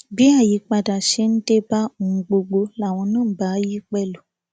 bí àyípadà ṣe ń dé dé bá ohun gbogbo làwọn náà ń bá a yí pẹlú